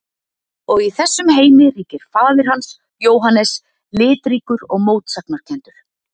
Og í þessum heimi ríkir faðir hans, Jóhannes, litríkur og mótsagnakenndur.